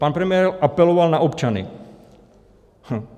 Pan premiér apeloval na občany.